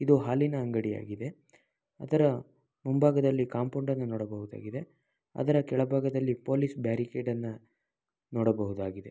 ಇದು ಹಾಲಿನ ಅಂಗಡಿ ಆಗಿದೆ ಅದರ ಮುಂಬಾಗದಲ್ಲಿ ಕಾಂಪೌಂಡ್ ಅನ್ನು ನೋಡಬಹುದಾಗಿದೆ ಅದರ ಪೊಲೀಸ್ ಬ್ಯಾರಿಕೇಡ್ ಅನ್ನ ನೋಡಬಹುದಾಗಿದೆ.